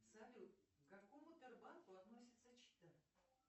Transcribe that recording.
салют какому банку относится чита